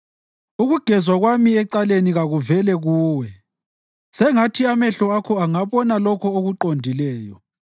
Ukugezwa kwami ecaleni kakuvele kuwe; sengathi amehlo Akho angabona lokho okuqondileyo.